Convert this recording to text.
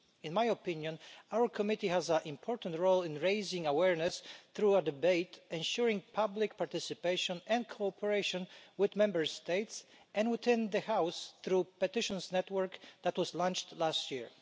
In my opinion, our committee has an important role in raising awareness through a debate, ensuring public participation and cooperation with Member States, and within the House through the petitions network that was launched last year.